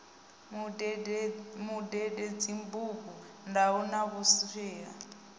mundende dzibugu ndaula na vhukwila